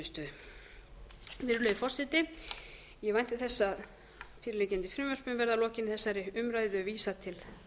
niðurstöðu virðulegi forseti ég vænti þess að fyrirliggjandi frumvörpum verði að lokinni þessari umræðu vísað til